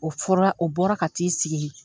O fɔra, o bɔra ka t'i sigi.